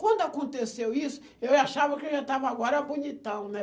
Quando aconteceu isso, eu achava que eu já estava agora bonitão, né?